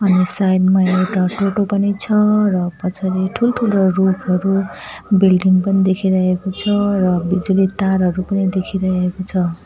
यस side मा एउटा टोटो पनि छ र पछाडि ठूलठूलो रुखहरू बिल्डिङ पनि देखिरहेको छ र बिजुली तारहरू पनि देखिरहेको छ।